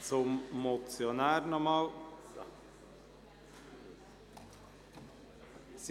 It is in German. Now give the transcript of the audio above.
Der Motionär wünscht noch einmal das Wort.